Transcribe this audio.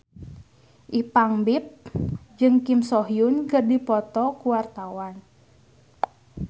Ipank BIP jeung Kim So Hyun keur dipoto ku wartawan